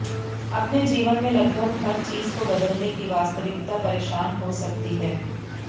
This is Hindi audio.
अपने जीवन में लगभग हर चीज को बदलने की वास्तविकता परेशान हो सकती है